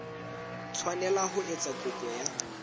tshwanela ho etsa kopo ya